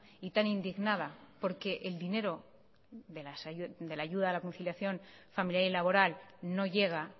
y tan indignada porque el dinero de la ayuda a la conciliación familiar y laboral no llega